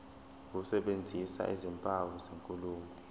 ukusebenzisa izimpawu zenkulumo